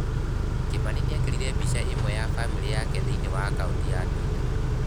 Kĩmani niekerire mbica imwe ena famĩlĩ yake thĩinĩ wa akaunti yake ya Twitter.